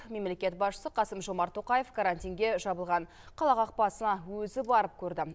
мемлекет басшысы қасым жомарт тоқаев карантинге жабылған қала қақпасын өзі барып көрді